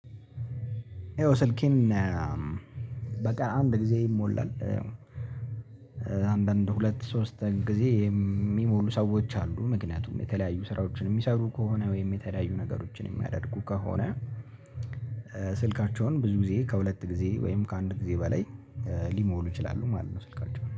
ይኸው ስልኬን በቃ አንድ ጊዜ ይሞላል አንዳንድ ሁለት ሶስት ጊዜ የሚሞሉ ሰዎች አሉ ምክንያቱም የተለያዩ ስራዎችን የሚሰሩ ከሆነ ወይም የተለያዩ ነገሮችን የሚያደርጉ ከሆነ ስልካቸውን ብዙ ጊዜ ከሁለት ጊዜ ወይም ከአንድ ጊዜ በላይ ሊሞሉ ይችላሉ ማለት ነው ስልካቸው።